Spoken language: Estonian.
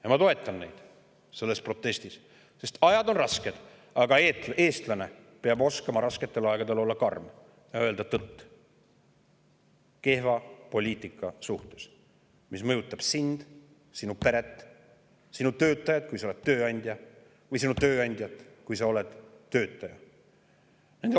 Ja ma toetan neid selles protestis, sest ajad on rasked, aga eestlane peab oskama rasketel aegadel olla karm ja rääkida tõtt kehva poliitika kohta, mis mõjutab sind, sinu peret ning sinu töötajaid, kui sa oled tööandja, ja sinu tööandjat, kui sa oled töötaja.